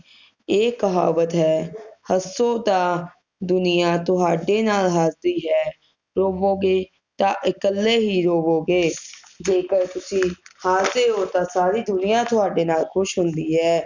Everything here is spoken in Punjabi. ਇਹ ਕਹਾਵਤ ਹੈ ਹਸੋ ਤਾ ਦੁਨੀਆਂ ਤੁਹਾਡੇ ਨਾਲ ਹਸਦੀ ਹੈ ਰੋਵੋਗੇ ਤਾ ਇਕਲੇ ਹੀ ਰੋਵੋਗੇ ਜੇਕਰ ਤੁਸੀਂ ਹੱਸਦੇ ਹੋ ਤਾ ਸਾਰੀ ਦੁਨੀਆਂ ਤੁਹਾਡੇ ਨਾਲ ਖੁਸ਼ ਹੁੰਦੀ ਹੈ